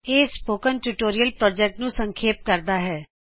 ਇਹ spoken tutorial project ਨੂੰ ਸੰਖੇਪ ਕਰਦਾ ਹੈ